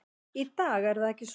Í dag er það ekki svo.